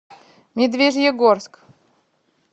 медвежьегорск